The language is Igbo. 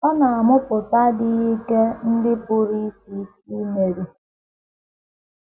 Ọ na - amụpụta adịghị ike ndị pụrụ isi ike imeri.